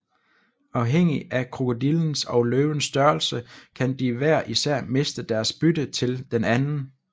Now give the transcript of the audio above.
Afhængig af krokodillens og løvens størrelse kan de hver især miste deres bytte til den anden